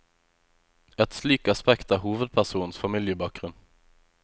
Et slikt aspekt er hovedpersonens familiebakgrunn.